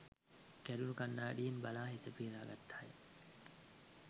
කැඩුණු කණ්ණාඩියෙන් බලා හිස පීර ගත්තාය